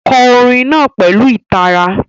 Kọ orin náà pẹ̀lú ìtara.